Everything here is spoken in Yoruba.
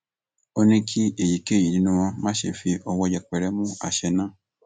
ó ní kí èyíkéyìí nínú wọn má ṣe fi ọwọ yẹpẹrẹ mú àṣẹ náà